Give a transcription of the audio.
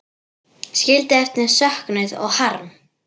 Skildi eftir söknuð og harm.